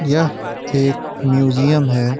यह एक म्यूजियम है।